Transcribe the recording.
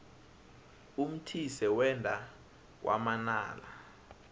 umthise wenda kwamanala